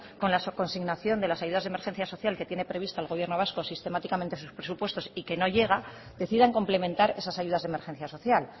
con la consignación de las ayudas de emergencia social que tiene previsto el gobierno vasco sistemáticamente en sus presupuestos y que no llega deciden complementar esas ayudas de emergencia social